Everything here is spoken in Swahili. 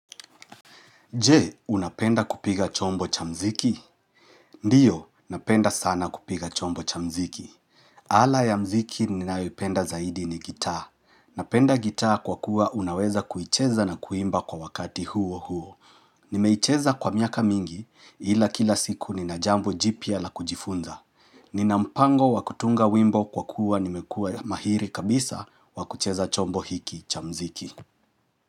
Je, unapenda kupiga chombo cha mziki? Ndiyo, napenda sana kupiga chombo cha mziki. Ala ya mziki ninayoipenda zaidi ni gitaa. Napenda gitaa kwa kuwa unaweza kuicheza na kuimba kwa wakati huo huo. Nimeicheza kwa miaka mingi ila kila siku ninajambo jipya la kujifunza. Nina mpango wakutunga wimbo kwa kuwa nimekuwa mahiri kabisa wakucheza chombo hiki cha mziki.